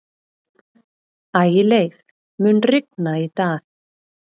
Ægileif, mun rigna í dag?